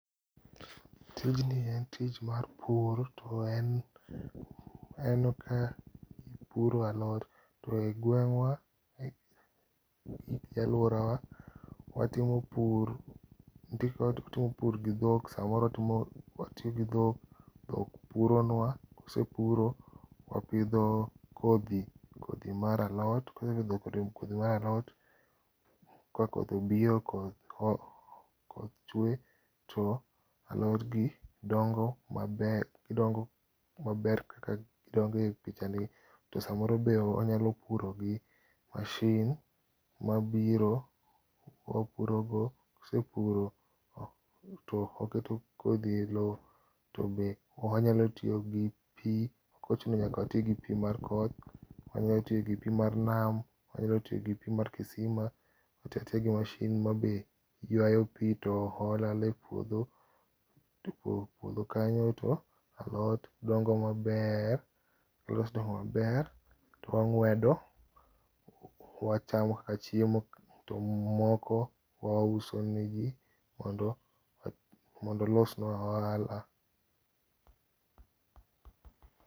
tijni en tich mar pur to en ka jipuro alot ,to e gweng wa gauorawa watimo pur nitie kaka watimo pur gi dhok samoro watiyo gi dhok, dhok puronwa kose puro wapidho kodhi, kodhi mar alot, kawasepidho kodhi mar alot, ka koth obiro koth chue to alod gi dongo maber, godngo maber kaka gidongo e pichani, to samoro be wanyalo puro gi machine mabiro wapuro go kawasepuro to wakeo kodhi e lo, to wanyalo tiyo gi pi ok ochuna nyaka wati gi pi mar koth, wanyalo tiyo gi pi mar nam wanyalo tiyo gi pi mar kisima watiyatiya gi machine ma bende yuayo pii to hola hola e puodho e puodho kanyo to alot dongo maber, kose dongo maber, wanguedo to wachamo kaka chiemo to moko wauso ne ji mondo olosnwa ohala